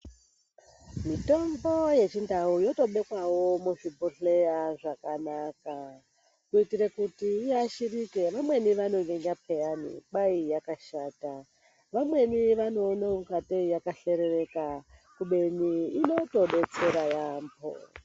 Mitombo yechindau yotobekwawo muzvibhodhleya zvakanaka, kuitire kuti iashirike. Vamweni vanowenga pheyani, kwai yakashata. Vamweni vanoona kungatei yaka shorereka kubeni inotodetsera yaamho.